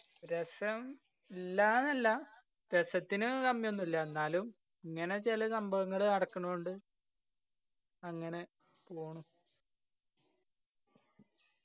രസം ഇല്ലാന്നല്ല രസത്തിന് കമ്മിയൊന്നില്ല എന്നാലും ഇങ്ങനെ ചെല സംഭവങ്ങള് നടക്കണോണ്ട് അങ്ങനെ